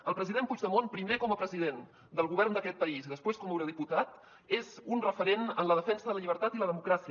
el president puigdemont primer com a president del govern d’aquest país i després com a eurodiputat és un referent en la defensa de la llibertat i la democràcia